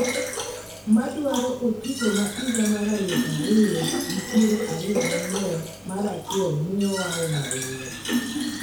ma dwaro otiko ma higa mar alufu ariyo gi piero ariyo gang'wen mar achiel miyo wa um ahinya